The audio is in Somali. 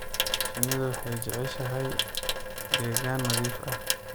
Shinnidu waxay jeceshahay deegaan nadiif ah.